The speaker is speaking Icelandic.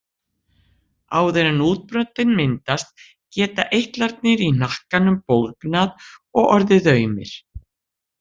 Áður en útbrotin myndast geta eitlarnir í hnakkanum bólgnað og orðið aumir.